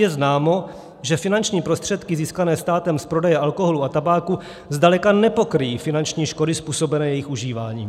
Je známo, že finanční prostředky získané státem z prodeje alkoholu a tabáku zdaleka nepokryjí finanční škody způsobené jejich užíváním.